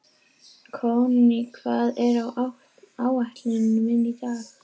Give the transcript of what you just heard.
Konný, hvað er á áætluninni minni í dag?